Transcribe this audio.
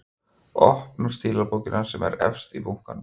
Opnar stílabókina sem er efst í bunkanum.